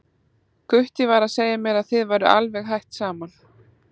Gutti var að segja mér að þið væruð alveg hætt saman.